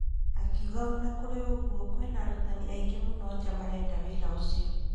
Akiuga ona kũrĩ ũguo kwĩna arũtani aingĩ mũno nja marenda wĩra ũcio.